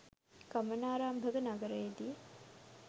ගමනාරම්භක නගරයේදී